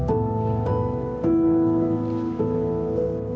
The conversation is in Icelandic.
og